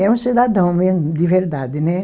É um cidadão mesmo, de verdade, né?